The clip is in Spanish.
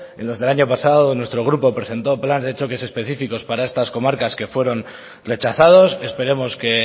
en los del año pasado nuestro grupo presentó planes de choques específicos para estas comarcas que fueron rechazados esperemos que